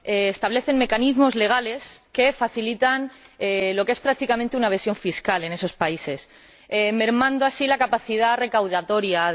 establecen mecanismos legales que facilitan lo que es prácticamente una evasión fiscal en esos países, mermando así su capacidad recaudatoria.